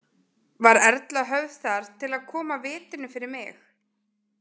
Var Erla höfð þar til að koma vitinu fyrir mig.